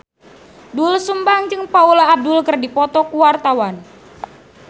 Doel Sumbang jeung Paula Abdul keur dipoto ku wartawan